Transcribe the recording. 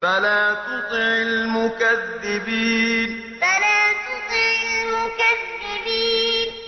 فَلَا تُطِعِ الْمُكَذِّبِينَ فَلَا تُطِعِ الْمُكَذِّبِينَ